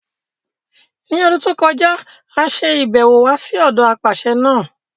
L'ọ́dún tó kọjá, a ṣe ibẹ̀ wò wá sí ọ̀dọ apàṣẹ náà.